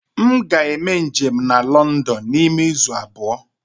M ga-eme njem na London n'ime izu abụọ.